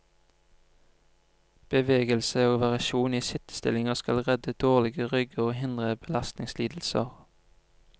Bevegelse og variasjon i sittestillinger skal redde dårlige rygger og hindre belastningslidelser.